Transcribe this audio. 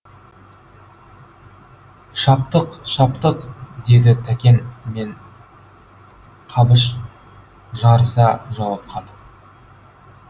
шаптық шаптық деді тәкен мем қабыш жарыса жауап қатып